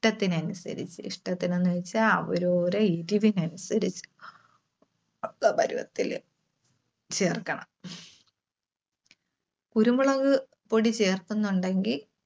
ടത്തിന് അനുസരിച്ച്, ഇഷ്ടത്തിനെന്ന് വെച്ച അവരോരെ എരിവിന്‌ അനുസരിച്ച്. പ~പരുവത്തില് ചേർക്കണം. കുരുമുളക് പൊടി ചേർക്കുന്നുണ്ടെങ്കിൽ